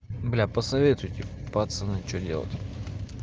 бля посоветуйте пацаны что делать